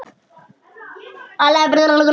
Það er ljóst hér.